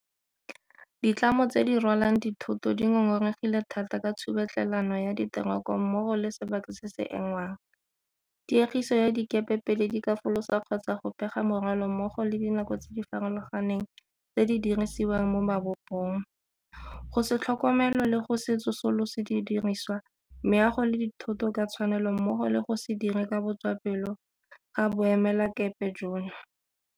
Ditlamo tse di rwalang dithoto di ngongoregile thata ka tshubetlhelano ya diteroko mmogo le sebaka se se engwang, tiegiso ya dikepe pele di ka folosa kgotsa go pega morwalo mmogo le dinako tse di farologaneng tse di dirisiwang mo mabopong, go se tlhokomelo le go se tsosolose didirisiwa, meago le dithoto ka tshwanelo mmogo le go se dire ka botswapelo ga boemelakepe jono.